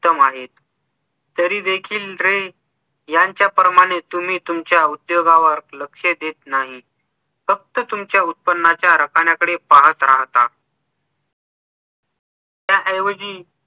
उत्तम आहेत तरी देखील रे यांच्या प्रमाणे तुम्ही तुमच्या उद्योगावर लक्ष देत नाही फक्त तुमच्या उत्पनाच्या रकण्याकडे पाहत राहतात त्याऐवजी